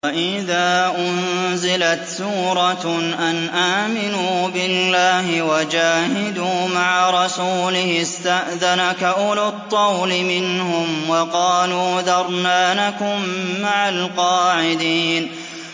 وَإِذَا أُنزِلَتْ سُورَةٌ أَنْ آمِنُوا بِاللَّهِ وَجَاهِدُوا مَعَ رَسُولِهِ اسْتَأْذَنَكَ أُولُو الطَّوْلِ مِنْهُمْ وَقَالُوا ذَرْنَا نَكُن مَّعَ الْقَاعِدِينَ